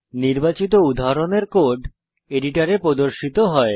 নির্বাচিত উদাহরণের কোড এডিটরে প্রর্দশিত হয়